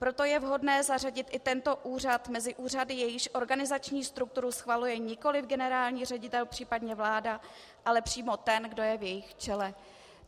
Proto je vhodné zařadit i tento úřad mezi úřady, jejichž organizační strukturu schvaluje nikoli generální ředitel, případně vláda, ale přímo ten, kdo je v jejich čele.